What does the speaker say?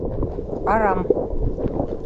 арам